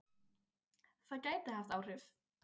Það gæti haft áhrif.